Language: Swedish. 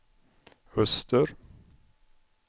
öster